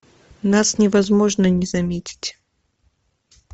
нас невозможно не заметить